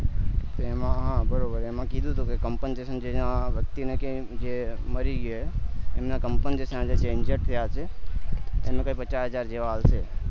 તેમાં બરોબર એમાં કીધું હતું કે compensation વ્યક્તિ ને કે જે મરી ગયા હે એને componsation જે છે જે injured થયા હયશે એનું કૈક પાછા હજાર જેવા આલશે